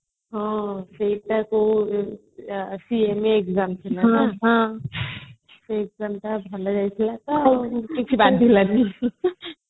ହଁ ସେଇଟା କୁ exam ଥିଲା ସେଇ exam ଟା ଭଲ ହେଇଥିଲା ତ ଆଉ କିଛି ବାଧିଲାଣି